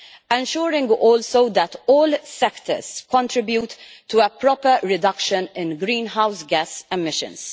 ensuring also that all sectors contribute to a proper reduction in greenhouse gas emissions.